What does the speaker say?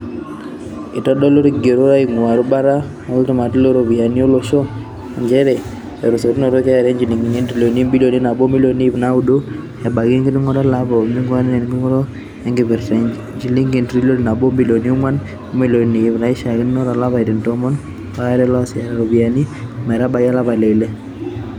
Itodolu ilkigeroto aingua erubata olchumati looropiyiani olosho njere etosotutuo KRA injilingini entrilion ebilion nabo o milioni iip naaudo ebaiki enkitingoto olapa le onguan tenintanyanyuk wenkipirta o njilingini etrilion nabo obilioni onguan o milioni iip naapishana toolapatin tomon aare lesirata ooropiyiani ometabaiki olapa le ile.